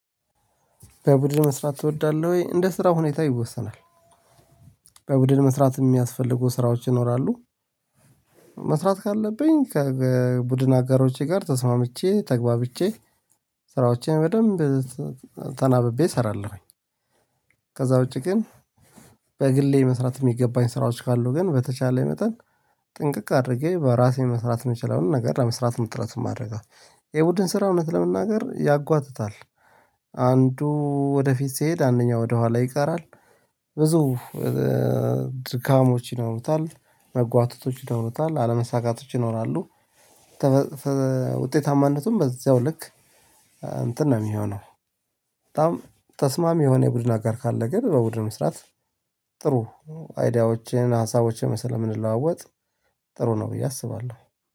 በቡድን መስራት ትወዳለህ ወይ? እንደ ስራ ሁኔታ ይወሰናል። በቡድን መስራት የሚያስፈልጉ ስራዎች ይኖራሉ። መስራት ካለብኝ ከቡድን አጋሮቼ ጋር ተስማምቼ ተግባብቼ ስራዎቼን በደንብ ተናብቤ እሰራለሁኝ። ከዛ ውጪ ግን በግሌ መስራት የሚገባኝ ስራዎች ካሉ ግን በተቻለ መጠን ጥንቅቅ አድርጌ በራሴ መስራት የምችለውን ነገር ለመስራት መጥረት ማደርገው አለብን። የቡድን ስራ እውነት ለመናገር ያጓትታል። አንዱ ወደፊት ስሄድ አንደኛ ወደኋላ ይቀራል። ብዙ ድካሞች ይኖሩታል መጓተቶች ይኖሩታል አለመሳካቶች ይኖራሉ። ውጤታማነቱም በዚያው ልክ እንትን ነው የሚሆነው። በጣም ተስማሚ የሆነ የቡድን አጋር ካለ ግን በቡድን መስራት። ጥሩ አይዲያዎችን ሀሳቦችን ስለምንለዋወጥ ጥሩ ነው ብዬ አስባለሁ